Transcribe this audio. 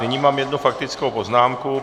Nyní mám jednu faktickou poznámku.